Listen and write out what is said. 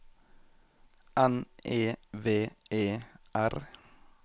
N E V E R